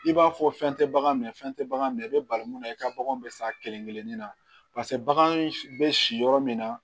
I b'a fɔ fɛn tɛ bagan minɛ fɛn tɛ bagan minɛ i bɛ bali mun na i ka bagan bɛ sa kelen kelen ni na bagan bɛ si yɔrɔ min na